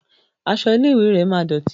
Aṣọ ilé ìwé rẹ máa dọ̀tì.